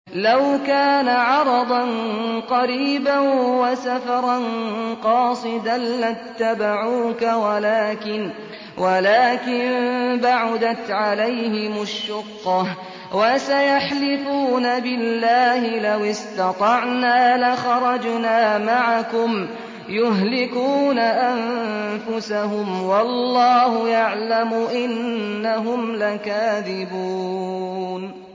لَوْ كَانَ عَرَضًا قَرِيبًا وَسَفَرًا قَاصِدًا لَّاتَّبَعُوكَ وَلَٰكِن بَعُدَتْ عَلَيْهِمُ الشُّقَّةُ ۚ وَسَيَحْلِفُونَ بِاللَّهِ لَوِ اسْتَطَعْنَا لَخَرَجْنَا مَعَكُمْ يُهْلِكُونَ أَنفُسَهُمْ وَاللَّهُ يَعْلَمُ إِنَّهُمْ لَكَاذِبُونَ